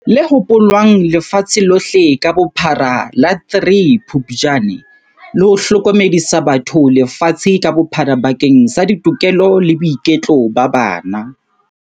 Le hopolwang lefatshe lohle ka bophara ka la 03 Phuptjane, le ho hlokomedisa batho lefatshe ka bophara bakeng sa ditokelo le boiketlo ba bana.